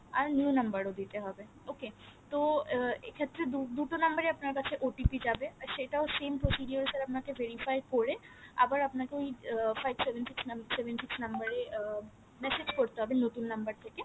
আর new number ও দিতে হবে okay তো এক্ষেত্রে দুটো number এই আপনার কাছে OTP যাবে আর সেটাও same procedure এ আপনাকে verify করে আবার আপনাকে ওই five seven six seven six number এ উম massage করতে হবে নতুন নাম্বার থেকে